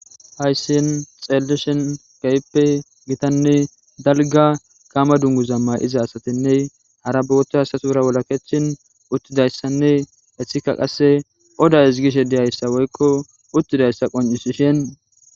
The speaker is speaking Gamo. Hayssiin xellishin gayppe gitanne dalga gaama dungu zamma iza asatinne hara boota asasuura wolaketin uttidayssanne hethika qasse oda hisgishe diyayssa woykko uttidayssa qoncisishin